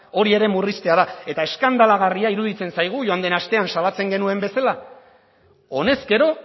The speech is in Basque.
hori ere murriztea da eta eskandalagarria iruditzen zaigu joan den astean salatzen genuen bezala honezkero